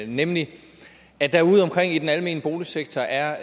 nemlig at der udeomkring i den almene boligsektor er